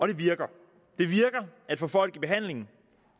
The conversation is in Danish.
det virker at få folk i behandling